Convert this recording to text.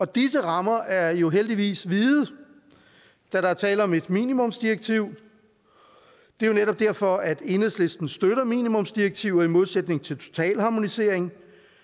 disse rammer er jo heldigvis vide da der er tale om et minimumsdirektiv det er netop derfor at enhedslisten støtter minimumsdirektiver i modsætning til totalharmonisering